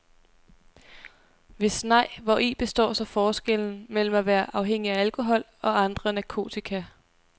Hvis nej, hvori består så forskellen mellem at være afhængig af alkohol og andre narkotika.